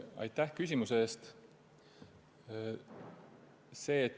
Aitäh küsimuse eest!